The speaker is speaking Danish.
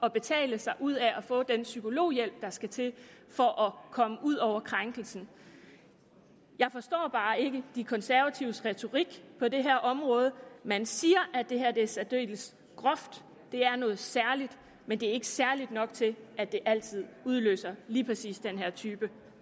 at betale sig ud af at få den psykologhjælp der skal til for at komme ud over krænkelsen jeg forstår bare ikke de konservatives retorik på det her område man siger at det her er særdeles groft at det er noget særligt men det er ikke særligt nok til at det altid udløser lige præcis den her type